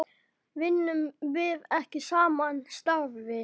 Vinnum við ekki sama starfið?